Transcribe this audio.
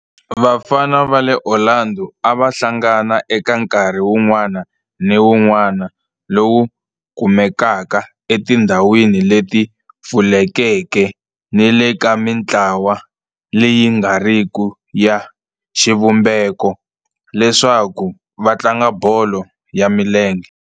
Vafana va le Orlando a va hlangana eka nkarhi wun'wana ni wun'wana lowu kumekaka etindhawini leti pfulekeke ni le ka mintlawa leyi nga riki ya xivumbeko leswaku va tlanga bolo ya milenge.